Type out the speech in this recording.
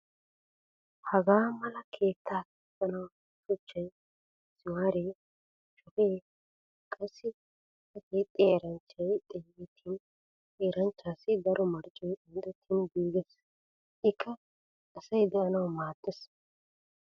Hagaa mala keettaa keexxanawu shuchchay, misimaaree, shafee, qassi A keexxiya eranchchay xeegettin he eranchchaassi daro marccoy qanxxettin giigees. Ikka asay de'nawu maaddees.